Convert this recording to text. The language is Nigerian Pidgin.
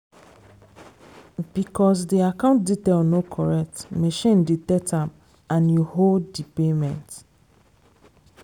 because di account detail no correct machine detect am and e hold di payment.